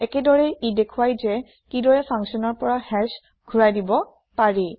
একেদৰে ই দেখুৱায় যে কিদৰে ফাংছনটো ৰ পৰা হাশ ঘোৰাই দিব পাৰি